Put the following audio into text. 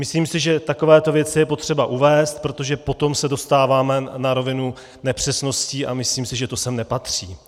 Myslím si, že takovéto věci je potřeba uvést, protože potom se dostáváme na rovinu nepřesností a myslím si, že to sem nepatří.